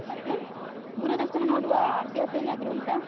ಮತ್ತೇ? ದೂರದರ್ಶನ ನೋಡುವ ಅಭ್ಯಾಸ ಏನಾದ್ರು ಉಂಟಾ?